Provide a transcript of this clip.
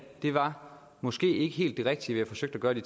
det var måske ikke helt det rigtige vi forsøgte at gøre de